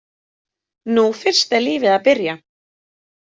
Nú fyrst er lífið að byrja!